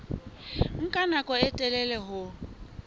nka nako e telele ho